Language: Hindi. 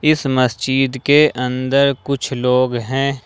इस मस्जिद के अंदर कुछ लोग हैं।